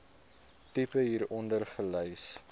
tipe hieronder gelys